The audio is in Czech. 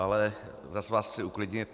Ale zas vás chci uklidnit.